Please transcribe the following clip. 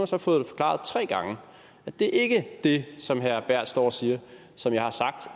så forklaret tre gange at det ikke er det som herre berth står og siger som jeg har sagt